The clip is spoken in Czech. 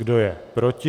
Kdo je proti?